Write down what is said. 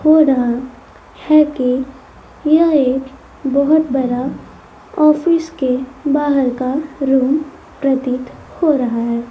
हो रहा है कि यह एक बहोत बड़ा ऑफिस के बाहर का रूम प्रतीत हो रहा है।